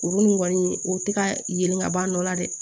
Olu ni kɔni o tɛ ka yelen ka ban dɔ la dɛ